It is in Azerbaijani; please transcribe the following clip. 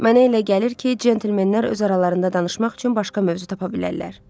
Mənə elə gəlir ki, centlmenlər öz aralarında danışmaq üçün başqa mövzu tapa bilərlər.